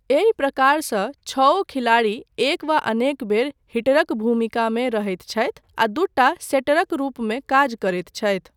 एहि प्रकारसँ छओ खिलाड़ी एक वा अनेक बेर हिटरक भूमिकामे रहैत छथि आ दूटा सेटरक रूपमे काज करैत छथि।